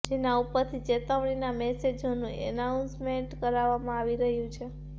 જેના ઉપરથી ચેતવણીના મેસેજોનું એનાઉન્સમેન્ટ કરવામાં આવી રહ્યું છે